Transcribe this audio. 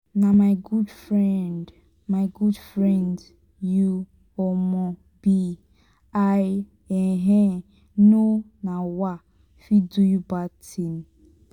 na my good friend my good friend you um be i um no um fit do you bad thing.